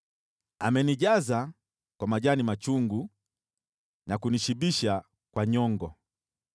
Amenijaza kwa majani machungu na kunishibisha kwa nyongo.